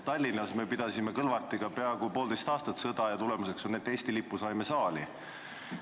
Tallinnas me pidasime Kõlvartiga peaaegu poolteist aastat sõda ja tulemuseks on, et Eesti lipu saime saali.